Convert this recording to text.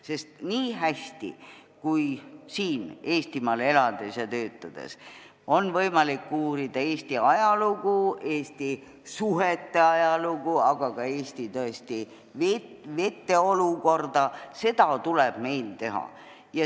Sest nii hästi, kui siin Eestimaal elades ja töötades on võimalik uurida Eesti ajalugu, Eesti suhete ajalugu, aga ka Eesti vete olukorda, tuleb meil seda teha.